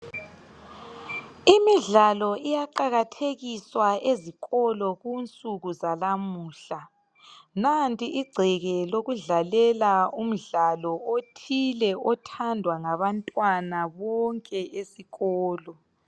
Imidlalo iyaqakathekiswa ezikolo kunsuku zalamuhla, nanti igceke lokudlalela umdlalo othile othandwa ngabantwana bonke esikolo